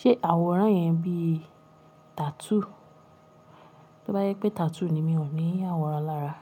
Ṣé àwòrán yẹn bí tattoo? Tí ó bá jẹ pé tattoo ni mi ò ní àwòrán lára.